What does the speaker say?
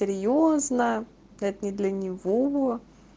серьёзно да это не для него